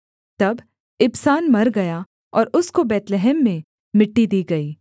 तब इबसान मर गया और उसको बैतलहम में मिट्टी दी गई